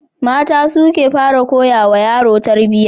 Mata su ke fara koyawa yaro tarbiyya.